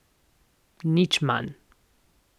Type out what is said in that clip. Nič manj.